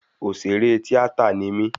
Òṣèré tíátà ni mí